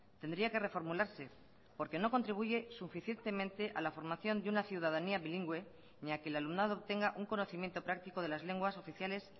tendría que reformularse porque no contribuye suficientemente a la formación de una ciudadanía bilingüe ni a que el alumnado tenga un conocimiento práctico de las lenguas oficiales